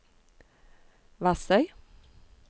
Vassøy